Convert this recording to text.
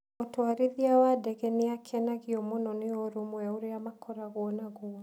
Mũtwarithia wa ndege nĩ akenagio mũno nĩ ũrũmwe ũrĩa makoragwo naguo.